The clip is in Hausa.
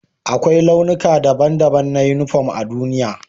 Akwai launuka daban-daban na uniporm a duniya.